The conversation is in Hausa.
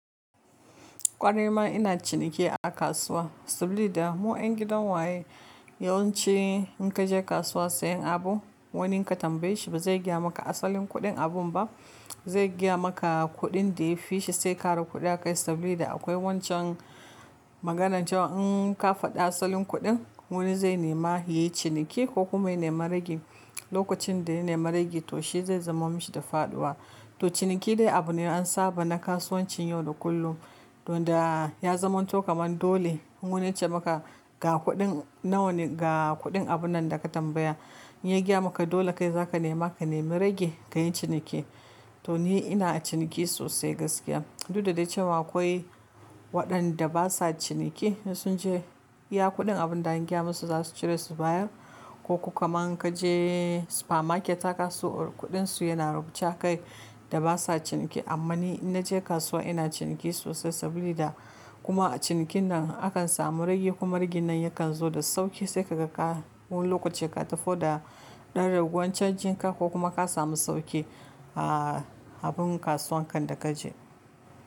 Ƙwarai ma ina ciniki a kasuwa saboda mu ƴan gidan waye. Yawanci in ka je kasuwa sayen abu, wani ka tambaye shi ba zai gaya maka asalin kuɗin abun ba. Zai gaya maka kuɗin da ya fi shi sai ka roƙi kuɗi akai saboda akwai wancan maganan cewa in ka faɗi asalin kuɗin, wani zai nema yi ciniki ko kuma ya nema ragi. Lokacin da ya nema ragi to shi zai zama mishi da faɗuwa. To ciniki dai abu ne an saba na kasuwancin yau da kullum. Don da ya zama to kaman dole in wani ya ce maka ga kuɗin nan ne ga kuɗin abun nan da ka tambaya, in ya gaya maka dole kai za ka nema ka nema ragi ka yi ciniki. To ni ina ciniki sosai. Duk da dai cewa akwai waɗanda ba sa ciniki da sun ce ya kuɗin abun da an gaya musu za su cire su baya ko kuma in ka je supermarket aka so kuɗin su yana rubuce kai da ba sa ciniki. Amma ni in na je kasuwa ina ciniki sosai saboda kuma a cinikin nan akan samu ragi kuma ragin nan yakan zo da sauƙi sai ka ga ka wani lokaci ka tafi da ɗan ragowar canjin ka ko kuma ka samu sauƙi a abun kasuwan kan da ka je.